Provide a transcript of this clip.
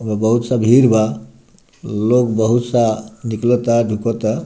एमे बहुत सा भीड़ बा लोग बोहुत सा निकला ता दिखता।